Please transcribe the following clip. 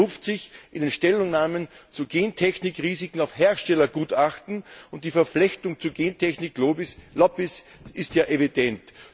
Man beruft sich in den Stellungnahmen zu Gentechnikrisiken auf Herstellergutachten, und die Verflechtung zu Gentechnik Lobbies ist ja evident.